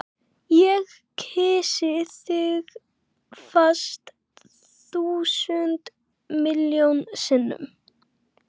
Ég kyssi þig fast, þúsund miljón sinnum.